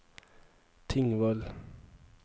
Tingvoll